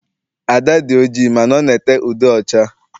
Ada dị oji mana ọ na ete ude ọcha.